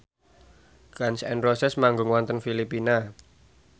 Gun n Roses manggung wonten Filipina